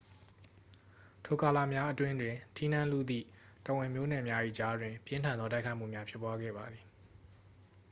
ထိုကာလများအတွင်းတွင် ထီးနန်းလုသည့် တော်ဝင်မျိုးနွယ်များ၏ကြားတွင် ပြင်းထန်သောတိုက်ခိုက်မှုများ ဖြစ်ပွားခဲ့ပါသည်